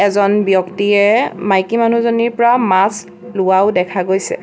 এজন ব্যক্তিয়ে মাইকী মানুহজনীৰ পৰা মাছ লোৱাও দেখা গৈছে।